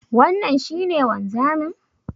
Wannan shi ne wanzamin?